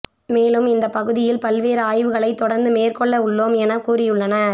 மேலும் இந்த பகுதியில் பல்வேறு ஆய்வுகளை தொடர்ந்து மேற்கொள்ள உள்ளோம் என கூறியுள்ளனர்